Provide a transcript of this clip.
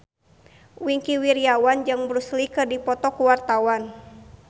Wingky Wiryawan jeung Bruce Lee keur dipoto ku wartawan